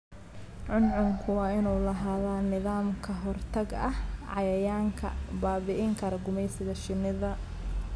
Cuncunku waa inuu lahaadaa nidaam ka hortag ah cayayaanka baabi'in kara gumeysiga shinnida.